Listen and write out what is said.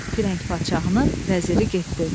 Firəng padşahının vəziri getdi.